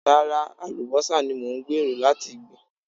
Rárá, àlùbọ́sà ni mò ń gbèrò láti gbìn.